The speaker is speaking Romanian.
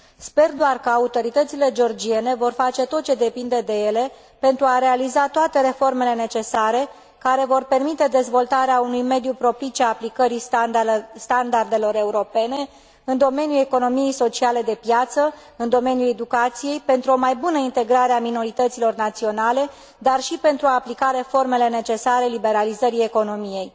Sper doar că autoritățile georgiene vor face tot ce depinde de ele pentru a realiza toate reformele necesare care vor permite dezvoltarea unui mediu propice aplicării standardelor europene în domeniul economiei sociale de piață, în domeniul educației, pentru o mai bună integrare a minorităților naționale, dar și pentru a aplica reformele necesare liberalizării economiei.